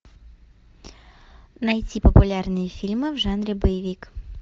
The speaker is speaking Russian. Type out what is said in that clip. найти популярные фильмы в жанре боевик